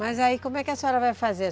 Mas aí como é que a senhora vai fazer?